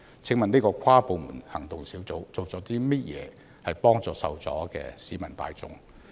請問跨部門行動小組做了甚麼來幫助受阻的市民大眾？